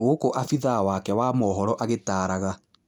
Gũkũabithaa wake wa mohoro agĩtaraga.